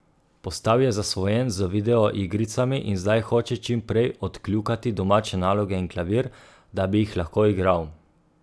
Postal je zasvojen z video igricami in zdaj hoče čim prej odkljukati domače naloge in klavir, da bi jih lahko igral.